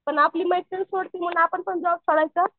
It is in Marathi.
पण आपली मैत्रीण सोडती म्हणून आपण जॉब सोडायच?